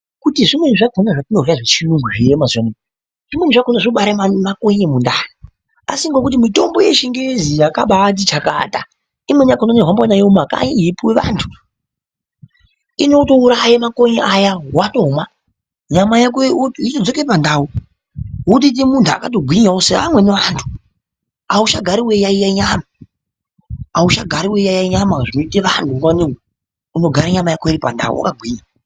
Kuti zvimweni zvakona zvatinorya zvechiyungu zviriyo mazuwanaya, zvimweni zvakona zvinobare makonye mundani, asi ngekuti mitombo yechingezi yakabaati chakata. Imweni yakona inohambiwa nayo mumakanyi yeipuwa vantu, inotouraya makonye aya wotomwa, nyama yako yotodzoke pandau, wotoite muntu akatogwinyawo seamweni antu, auchagari weiyaiya nyama, auchagari weiyaiya nyama zvinoite vantu nguwa nge nguwa, unogara nyama yako iri pandau, wakagwinya.